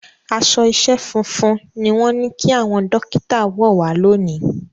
Aṣọ iṣẹ́ funfun ni wọ́n ní kí àwọn Dókítà wọ̀ wá lónìí